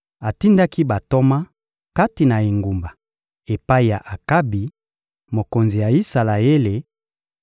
Atindaki bantoma kati na engumba epai ya Akabi, mokonzi ya Isalaele